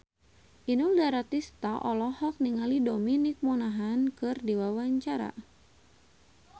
Inul Daratista olohok ningali Dominic Monaghan keur diwawancara